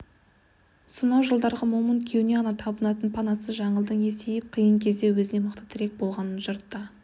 сонау жылдарғы момын күйеуіне ғана табынатын панасыз жаңылдың есейіп қиын кезде өзіне мықты тірек болғанын жұртта